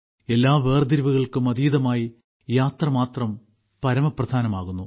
എല്ലാ വേർതിരിവുകൾക്കും അതീതമായി യാത്ര മാത്രം പരമപ്രധാനമാകുന്നു